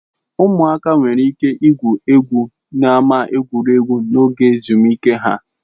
Ụmụaka nwere ike igwu egwu n'ámá egwuregwu n'oge ezumike ha.